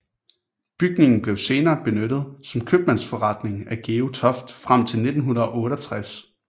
Bygningen blev senere benyttet som købmandsforretning af Georg Toft frem til 1968